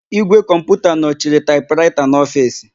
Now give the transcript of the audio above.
Ígwè kọmputa nọchiri taịpraịta n'ofiisi.